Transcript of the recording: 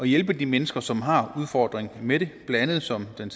hjælpe de mennesker som har udfordring med det blandt andet som den